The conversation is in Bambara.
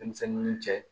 Denmisɛnnin cɛ